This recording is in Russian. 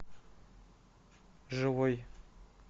живой